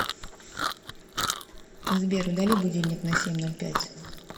сбер удали будильник на семь ноль пять